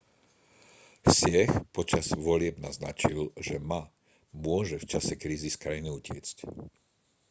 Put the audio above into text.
hsieh počas volieb naznačil že ma môže v čase krízy z krajiny utiecť